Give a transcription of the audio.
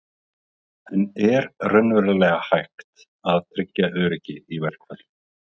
En er raunverulega hægt að tryggja öryggi í verkfalli?